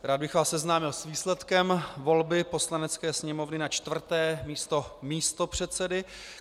Rád bych vás seznámil s výsledkem volby Poslanecké sněmovny na čtvrté místo místopředsedy.